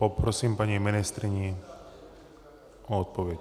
Poprosím paní ministryni o odpověď.